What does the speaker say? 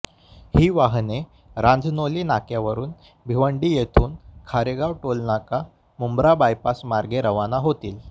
ही वाहने रांजनोली नाक्यावरून भिवंडी येथून खारेगाव टोलनाका मुंब्रा बायपास मार्गे रवाना होतील